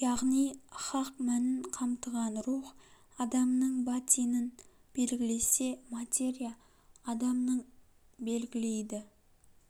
яғни хақ мәнін қамтыған рух адамның батинын белгілесе материя адамның белгілейді